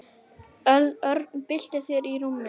Örn bylti sér í rúminu.